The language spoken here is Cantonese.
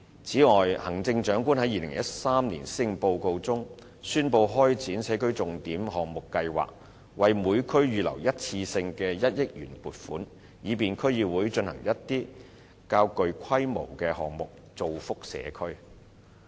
此外，行政長官在2013年施政報告中，宣布開展社區重點項目計劃，為每區預留一次性的1億元撥款，以便區議會進行一些較具規模的項目，造福社區。